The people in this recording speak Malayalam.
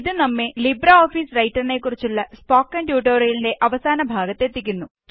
ഇത് നമ്മെ ലിബ്രെഓഫീസ് റൈറ്റര്നെ കുറിച്ചുള്ള സ്പോക്കണ് ട്യൂട്ടോറിയലിന്റെ അവസാന ഭാഗതെത്തിക്കുന്നു